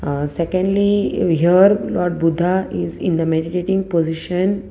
aah secondly we here lord buddha is in the meditating position.